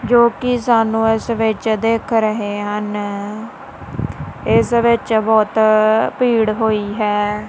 ਜੋ ਕਿ ਸਾਨੂੰ ਇਸ ਵਿੱਚ ਦੇਖ ਰਹੇ ਹਨ ਇਸ ਵਿੱਚ ਬਹੁਤ ਭੀੜ ਹੋਈ ਹੈ।